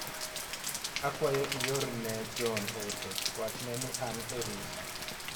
Akwayo iorne John ote wachne ni an e rusa.